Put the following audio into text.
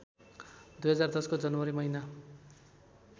२०१० को जनवरी महिना